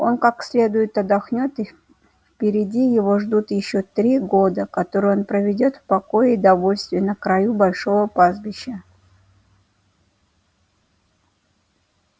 он как следует отдохнёт и впереди его ждут ещё три года которые он проведёт в покое и довольстве на краю большого пастбища